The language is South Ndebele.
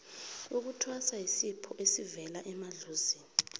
ukuthwasa yisipho esibela emadlozini